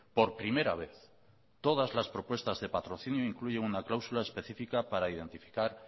por primera vez todas las propuestas de patrocinio incluyen una cláusula específica para identificar